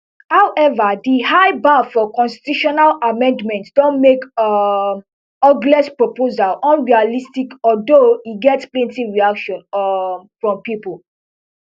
however di high bar for constitutional amendments don make um ogles proposal unrealistic although e get plenty reactions um from pipo